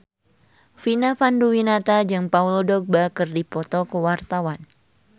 Vina Panduwinata jeung Paul Dogba keur dipoto ku wartawan